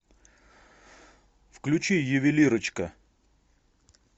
включи ювелирочка